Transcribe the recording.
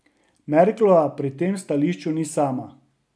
Merklova pri tem stališču ni sama.